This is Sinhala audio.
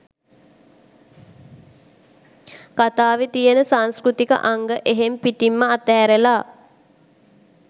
කතාවේ තියෙන සංස්කෘතික අංග එහෙම් පිටින්ම අත ඇරල